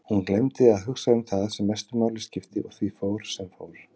Hún gleymdi að hugsa um það sem mestu máli skipti og því fór sem fór.